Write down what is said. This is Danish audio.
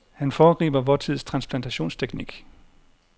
Han foregriber vor tids transplantationsteknik.